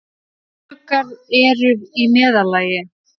Eyruggar eru í meðallagi.